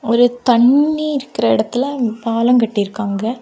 ஒரு தண்ணி இருக்கிற இடத்தில பாலங்கட்டியிருக்காங்க.